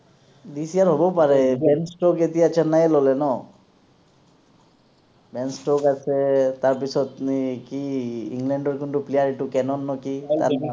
this year হব পাৰে, Ben Stokes এতিয়া চেন্নাই এ ললে ন বেন ষ্ট্ৰক আছে তাৰপাছত নে কি ইংলেণ্ডৰ কোনটো player এইটো কেনন নে কি